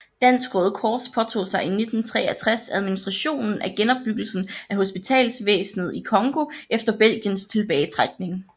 Dansk Røde Kors påtog sig i 1963 administrationen af genopbyggelsen af hospitalsvæsnet i Congo efter Belgiens tilbagetrækning